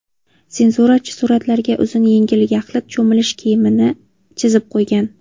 Senzurachi suratlarga uzun yengli yaxlit cho‘milish kiyimini chizib qo‘ygan.